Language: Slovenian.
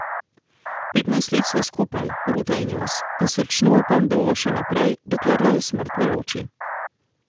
Petnajst let sva skupaj, ruta in jaz, in srčno upam, da bova še naprej, dokler naju smrt ne loči.